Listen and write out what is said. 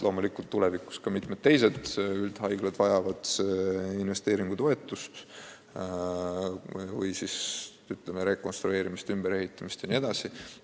Loomulikult tulevikus vajavad ka mitmed teised üldhaiglad investeeringutoetust või, ütleme, rekonstrueerimist, ümberehitamist jne.